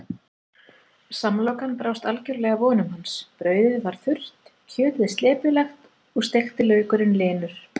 Samlokan brást algjörlega vonum hans, brauðið var þurrt, kjötið slepjulegt og steikti laukurinn linur.